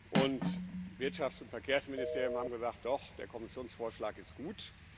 Und Wirtschafts und Verkehrsministerium haben gesagt Doch, der Kommissionsvorschlag ist gut.